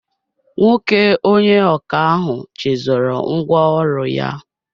Nwoke onye ọkà ahụ chezọrọ ngwa ọrụ ya